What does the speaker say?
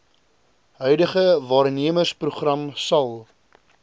huidige waarnemersprogram sal